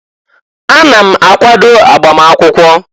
Ana m akwado agbam akwụkwọ.